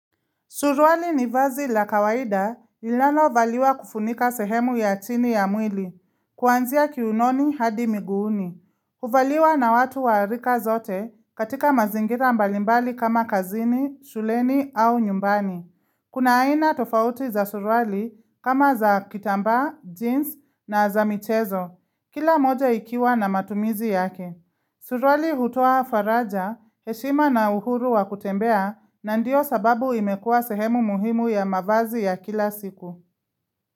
Suruali ni vazi la kawaida linalano valiwa kufunika sehemu ya chini ya mwili, kuanzia kiunoni hadi miguuni. Huvaliwa na watu wa rika zote katika mazingira mbalimbali kama kazini, shuleni au nyumbani. Kuna aina tofauti za surwali kama za kitambaa, jeans na za michezo, kila moja ikiwa na matumizi yake. Surali hutoa faraja, heshima na uhuru wa kutembea na ndio sababu imekua sehemu muhimu ya mavazi ya kila siku.